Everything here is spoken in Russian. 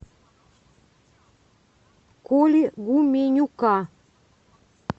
коли гуменюка